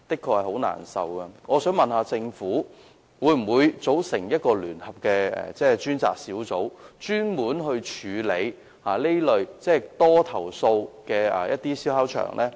為處理這問題，我想問政府，會否組成一個聯合專責小組，專門處理這類經常被投訴的燒烤場？